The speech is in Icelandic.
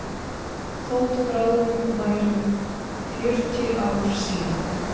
Þótt bráðum væru fjörutíu ár síðan